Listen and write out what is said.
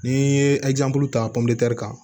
N'i ye ta kan